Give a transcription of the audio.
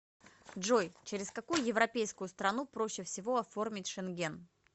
джой через какую европейскую страну проще всего оформить шенген